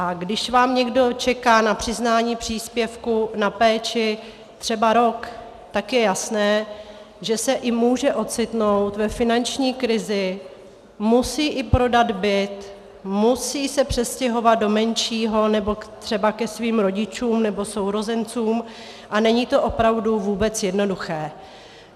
A když vám někdo čeká na přiznání příspěvku na péči třeba rok, tak je jasné, že se může ocitnout i ve finanční krizi, musí i prodat byt, musí se přestěhovat do menšího, nebo třeba ke svým rodičům, nebo sourozencům a není to opravdu vůbec jednoduché.